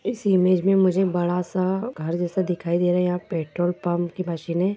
इस इमेज में मुझे बड़ा सा घर जैसा दिखाई दे रहा है यहाँ पेट्रोल पंप की मशीने --